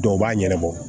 Dɔw b'a ɲanabɔ